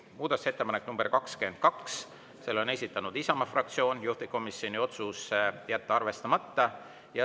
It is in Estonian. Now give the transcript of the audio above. Muudatusettepanek nr 22, selle on esitanud Isamaa fraktsioon, juhtivkomisjoni otsus: jätta arvestamata.